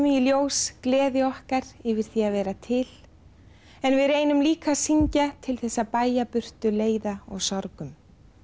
í ljós gleði okkar yfir því að vera til en við reynum líka að syngja til að bægja í burtu leiða og sorgum